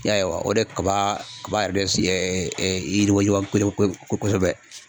I y'a ye wa? O de kaba kaba yɛrɛ de si yiriwa yiriwa yiriwa ko ko kosɛbɛ.